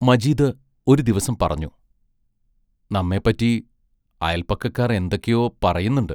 മജീദ് ഒരു ദിവസം പറഞ്ഞു: നമ്മെപ്പറ്റി അയൽപക്കക്കാർ എന്തൊക്കെയോ പറയുന്നുണ്ട്.